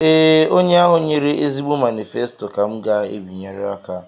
Ee, onye ahụ nyere ezigbo manifesto ka m ga-abịanyere aka